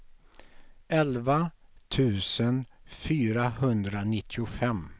elva tusen fyrahundranittiofem